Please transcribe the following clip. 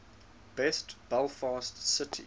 best belfast city